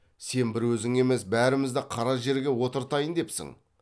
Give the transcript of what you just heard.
сен бір өзің емес бәрімізді қара жерге отыртайын депсің